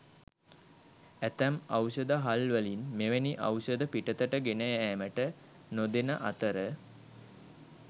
ඇතැම් ඖෂධහල්වලින් මෙවැනි ඖෂධ පිටතට ගෙන යෑමට නොදෙන අතර